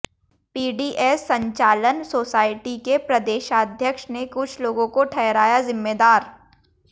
PDS संचालन society के प्रदेशाध्यक्ष ने कुछ लोगों को ठहराया जिम्मेदार